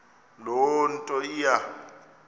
loo nto iya